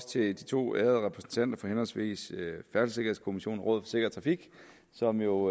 til de to ærede repræsentanter for henholdsvis færdselssikkerhedskommissionen og rådet for sikker trafik som jo